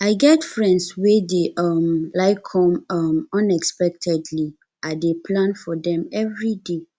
i get friends wey dey um like come um unexpectedly i dey plan for dem everyday